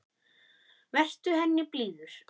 Vertu henni blíður.